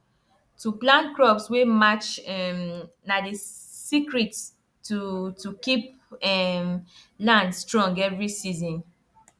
to plant crops wey match um na the secret to to keep um land strong every season